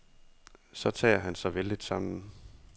Så tager han sig vældigt sammen.